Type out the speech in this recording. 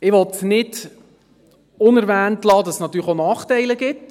Ich will nicht unerwähnt lassen, dass es natürlich auch Nachteile gibt.